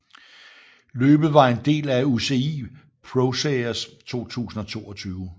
Løbet var en del af UCI ProSeries 2022